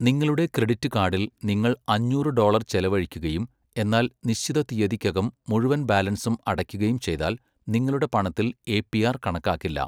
നിങ്ങളുടെ ക്രെഡിറ്റ് കാർഡിൽ നിങ്ങൾ അഞ്ഞൂറ് ഡോളർ ചെലവഴിക്കുകയും എന്നാൽ നിശ്ചിത തീയതിക്കകം മുഴുവൻ ബാലൻസും അടയ്ക്കുകയും ചെയ്താൽ, നിങ്ങളുടെ പണത്തിൽ എ.പി.ആർ കണക്കാക്കില്ല.